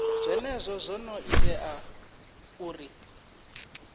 zwenezwo zwo ḓo ita uri